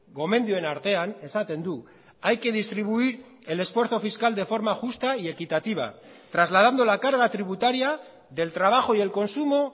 gomendioen artean esaten du hay que distribuir el esfuerzo fiscal de forma justa y equitativa trasladando la carga tributaria del trabajo y el consumo